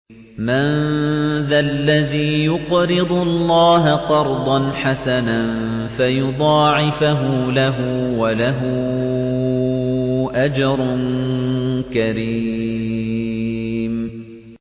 مَّن ذَا الَّذِي يُقْرِضُ اللَّهَ قَرْضًا حَسَنًا فَيُضَاعِفَهُ لَهُ وَلَهُ أَجْرٌ كَرِيمٌ